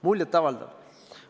Muljet avaldav.